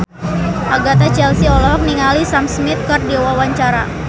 Agatha Chelsea olohok ningali Sam Smith keur diwawancara